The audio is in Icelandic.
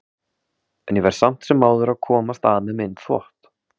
En ég verð samt sem áður að komast að með minn þvott.